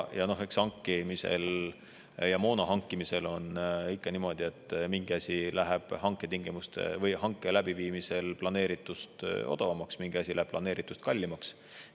Ja noh, eks hankimisel, moona hankimisel on ikka niimoodi, et mingi asi läheb hanke läbiviimisel planeeritust odavamaks, mingi asi läheb planeeritust kallimaks.